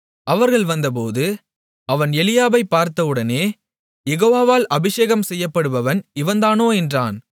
அவர்கள் வந்தபோது அவன் எலியாபைப் பார்த்தவுடனே யெகோவாவால் அபிஷேகம் செய்யப்படுபவன் இவன்தானோ என்றான்